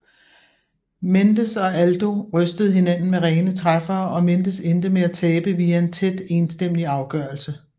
Mendes og Aldo rystede hinanden med rene træffere og Mendes endte med at tabe via en tæt enstemmig afgørelse